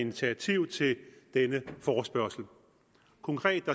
initiativ til denne forespørgsel konkret